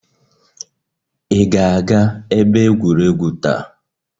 Ị ga-aga ebe egwuregwu taa?